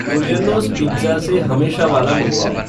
Turiello's pizza से हमेशा वाला मँगवाओ